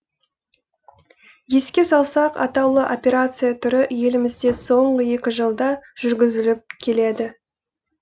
еске салсақ атаулы операция түрі елімізде соңғы екі жылда жүргізіліп келеді